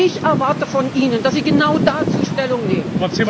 Ich erwarte von Ihnen, dass Sie genau dazu Stellung nehmen!